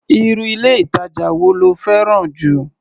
Irú ilé-ìtàjà wo lo fẹ́ràn jù?